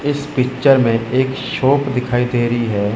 इस पिक्चर में एक शॉप दिखाई दे रही है।